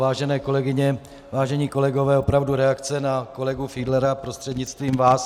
Vážené kolegyně, vážení kolegové, opravdu, reakce na kolegu Fiedlera prostřednictvím vás.